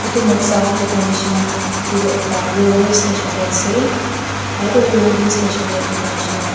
etu noksa dekhai misna etu tu ekta railway station teh ase aru tu railway station .